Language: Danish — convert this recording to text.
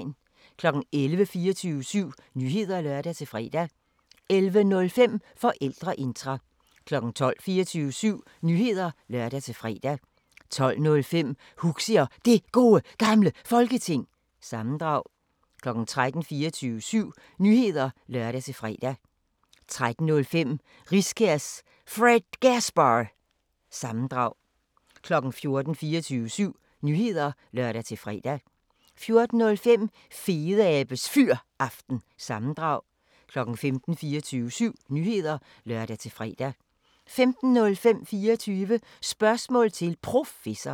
11:00: 24syv Nyheder (lør-fre) 11:05: Forældreintra 12:00: 24syv Nyheder (lør-fre) 12:05: Huxi og Det Gode Gamle Folketing – sammendrag 13:00: 24syv Nyheder (lør-fre) 13:05: Riskærs Fredgasbar- sammendrag 14:00: 24syv Nyheder (lør-fre) 14:05: Fedeabes Fyraften – sammendrag 15:00: 24syv Nyheder (lør-fre) 15:05: 24 Spørgsmål til Professoren